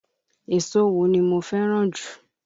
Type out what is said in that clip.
Èso wo ni mo fẹ́ràn jù?